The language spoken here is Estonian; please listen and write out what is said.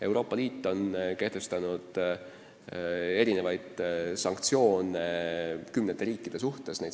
Euroopa Liit on kehtestanud erinevaid sanktsioone kümnete riikide suhtes.